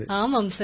ஆமாம் சார்